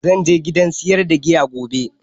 Zan je gidan siyar da giya gobe